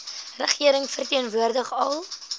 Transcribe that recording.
regering verteenwoordig al